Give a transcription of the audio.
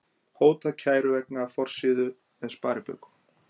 Hótað kæru vegna forsíðu með sparibaukum